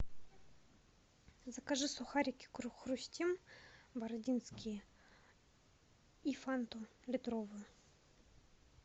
закажи сухарики хрустим бородинские и фанту литровую